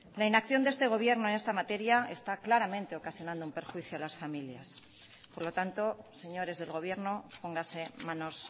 la inacción de este gobierno en esta materia está claramente ocasionando un perjuicio a las familias por lo tanto señores del gobierno póngase manos